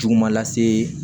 Juguma lase